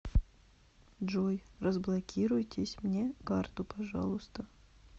джой разблокируйтесь мне карту пожалуйста